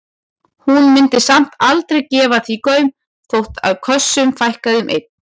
Hún mundi samt aldrei gefa því gaum þó að kössunum fækkaði um einn.